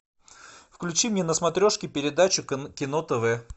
включи мне на смотрешке передачу кино тв